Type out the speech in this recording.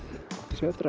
ég